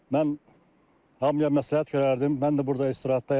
Mən hamıya məsləhət görərdim, mən də burda istirahətdəyəm.